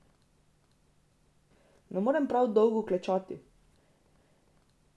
Ne morem prav dolgo klečati.